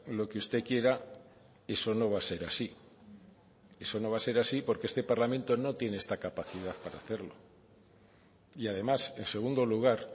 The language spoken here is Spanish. lo que usted quiera eso no va a ser así eso no va a ser así porque este parlamento no tiene esta capacidad para hacerlo y además en segundo lugar